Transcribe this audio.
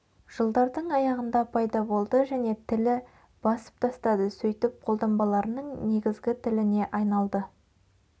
жылдардың аяғында пайда болды және тілі басып тастады сөйтіп қолданбаларының негізгі тіліне айналды